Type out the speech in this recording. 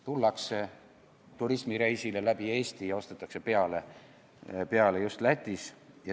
Tullakse turismireisile läbi Eesti ja ostetakse alkoholi just Lätis.